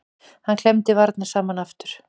Hann klemmdi varirnar saman aftur.